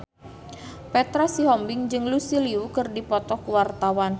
Petra Sihombing jeung Lucy Liu keur dipoto ku wartawan